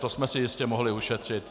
To jsme si jistě mohli ušetřit.